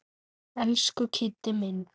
Elsku Kiddi minn.